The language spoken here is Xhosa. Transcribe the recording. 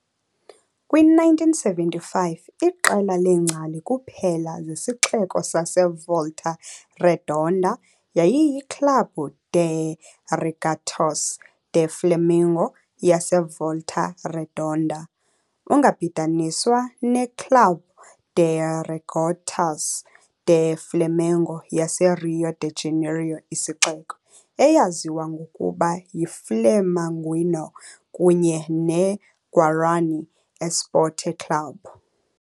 Kwi-1975, iqela leengcali kuphela zesixeko saseVolta Redonda yayiyiClube de Regatas do Flamengo yaseVolta Redonda, ungabhidaniswa neClube de Regatas do Flamengo yaseRio de Janeiro isixeko, eyaziwa ngokuba yiFlamenguinho, kunye neGuarani Esporte Clube.